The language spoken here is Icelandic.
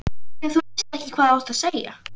Afþvíað þú veist ekki hvað þú átt að segja.